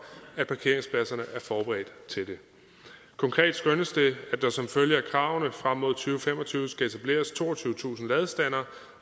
at parkeringspladserne er forberedt til det konkret skønnes det at der som følge af kravene frem mod to fem og tyve skal etableres toogtyvetusind ladestandere